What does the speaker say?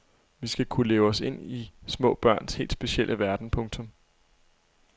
Vi skal kunne leve os ind i små børns helt specielle verden. punktum